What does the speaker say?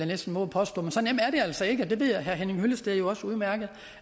næsten vove at påstå men så nemt er det altså ikke det ved herre henning hyllested jo også udmærket